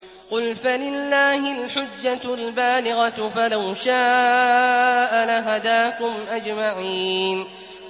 قُلْ فَلِلَّهِ الْحُجَّةُ الْبَالِغَةُ ۖ فَلَوْ شَاءَ لَهَدَاكُمْ أَجْمَعِينَ